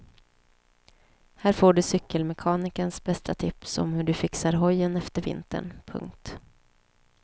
Här får du cykelmekanikerns bästa tips om hur du fixar hojen efter vintern. punkt